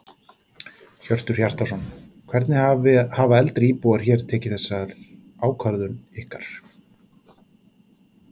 Hjörtur Hjartarson: Hvernig hafa eldri íbúar hér tekið þessar ákvörðun ykkar?